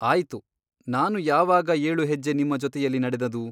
ಆಯಿತು ನಾನು ಯಾವಾಗ ಏಳು ಹೆಜ್ಜೆ ನಿಮ್ಮ ಜೊತೆಯಲ್ಲಿ ನಡೆದುದು?